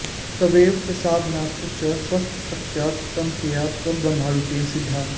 तवैव प्रसादान्न च स्वस्य शक्त्या त्वमेका परब्रह्मरूपेण सिद्धा